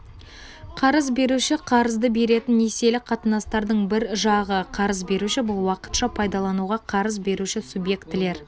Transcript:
қарыз беруші қарызды беретін несиелік қатынастардың бір жағы қарыз беруші бұл уақытша пайдалануға қарыз беруші субъектілер